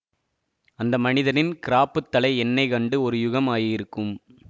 அந்த மனிதரின் கிராப்புத் தலை எண்ணெய் கண்டு ஒரு யுகம் ஆகியிருக்கும்